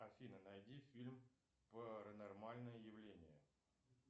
афина найди фильм паранормальное явление